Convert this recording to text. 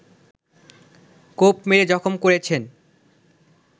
কোপ মেরে জখম করেছেন